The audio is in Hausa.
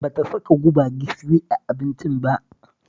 Ba ta saka guba gishiri a abincin ba